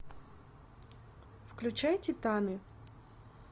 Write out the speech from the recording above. включай титаны